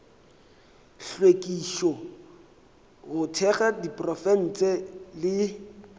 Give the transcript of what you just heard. hlwekišo go thekga diprofense le